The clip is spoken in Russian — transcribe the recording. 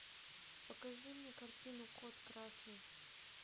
покажи мне картину код красный